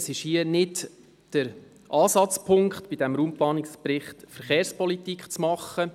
Der Raumplanungsbericht ist nicht der Ort, um Verkehrspolitik zu machen.